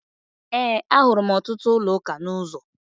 Ee, ahụrụ m ọtụtụ ụlọụka n'ụzọ.